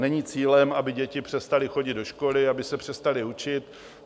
Není cílem, aby děti přestaly chodit do školy, aby se přestaly učit.